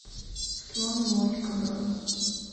слон и моська бронь